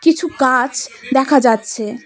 কিছু গাছ দেখা যাচ্ছে।